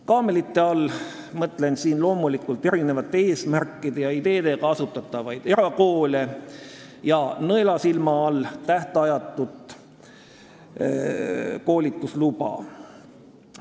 Kaamelite all mõtlen loomulikult eri eesmärkidel ja eri ideede põhjal asutatavaid erakoole ning nõelasilma all tähtajatut koolitusluba.